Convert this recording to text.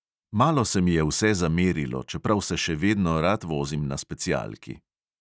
Malo se mi je vse zamerilo, čeprav se še vedno rad vozim na specialki.